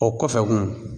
O kɔfɛ kun